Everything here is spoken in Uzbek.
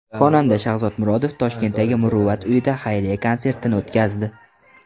Xonanda Shahzod Murodov Toshkentdagi Muruvvat uyida xayriya konsertini o‘tkazdi.